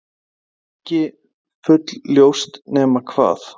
Það er ekki full-ljóst, nema hvað